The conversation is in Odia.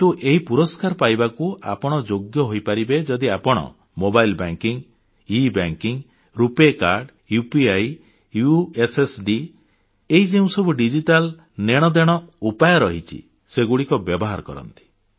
କିନ୍ତୁ ଏହି ପୁରସ୍କାର ପାଇବାକୁ ଆପଣ ଯୋଗ୍ୟ ହୋଇପାରିବେ ଯଦି ଆପଣ mobile banking e banking RuPay card UPI USSD ଏହି ଯେଉଁସବୁ ଡିଜିଟାଲ ନେଣଦେଣ ଉପାୟ ରହିଛି ସେଗୁଡ଼ିକ ବ୍ୟବହାର କରନ୍ତି